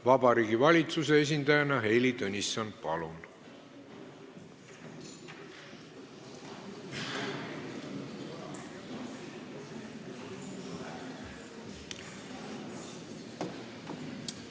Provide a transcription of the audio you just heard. Vabariigi Valitsuse esindaja Heili Tõnisson, palun!